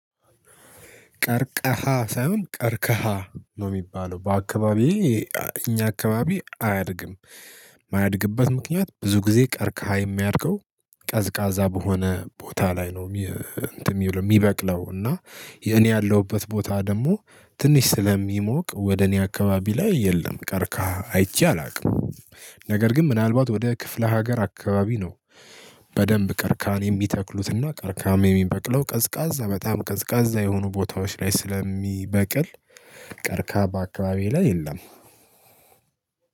ቀርቀሃ ሳይሆን ቀርከሃ ነው የሚባለው በአካባቢዬ እኛ አካባቢ አያድግም። የማያድግበት ምክንያት ብዙ ጊዜ ቀርከሃ የሚያድገው ቀዝቃዛ በሆነ ቦታ ላይ ነው። የሚበቅለው እና የኔ ያለሁበት ቦታ ደግሞ ትንሽ ስለሚሞቅ ወደ እኔ አካባቢ ላይ የለም ቀርከሃ አይቼ አላቅም። ነገር ግን ምናልባት ወደ ክፍለ ሀገር አካባቢ ነው። በደንብ ቀርከሃን የሚተክሉት እና ቀርቀሃም የሚበቅለው ቀዝቃዛ በጣም ቀዝቃዛ የሆኑ ቦታዎች ላይ ስለሚበቅል። ቀርከሃ በአካባቢዬ ላይ የለም።